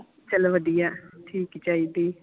ਚਲੋ ਵਧੀਆ ਠੀਕ ਹੀ ਚਾਹੀਦੀ